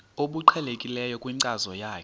obuqhelekileyo kwinkcazo yakho